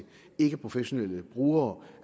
ikkeprofessionelle brugere